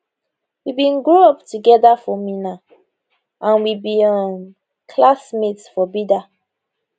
we bin grow up togeda for minna and we be um classmates for bida